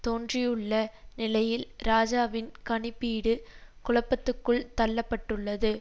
தோன்றியுள்ள நிலையில் இராஜாவின் கணிப்பீடு குழப்பத்துக்குள் தள்ள பட்டுள்ளது